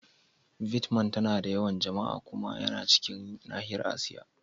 Vietnam tana da yawan jama'a. Kuma yana cikin nahiyar Asiya.